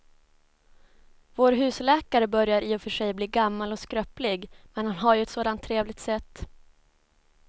Vår husläkare börjar i och för sig bli gammal och skröplig, men han har ju ett sådant trevligt sätt!